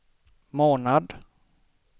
månad